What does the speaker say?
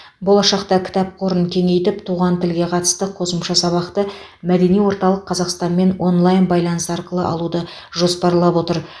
болашақта кітап қорын кеңейтіп туған тілге қатысты қосымша сабақты мәдени орталық қазақстанмен онлайн байланыс арқылы алуды жоспарлап отыр